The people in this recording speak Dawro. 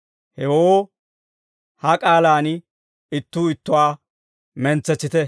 Hewoo, ha k'aalaan ittuu ittuwaa mentsetsite.